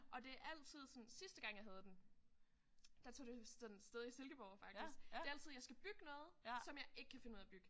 Og det er altid sådan sidste gang jeg havde den der tog det sådan sted i Silkeborg faktisk. Det er altid jeg skal bygge noget som jeg ikke kan finde ud af at bygge